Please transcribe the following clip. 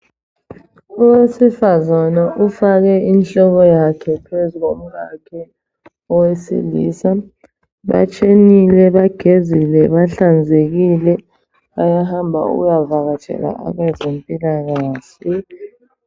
Owesifazana ufake inhloko yakhe phezukomkakhe owesilisa. Batshenile, bagezile, bahlanzekile, bayahamba ukuyavakatshela abezempilakahle.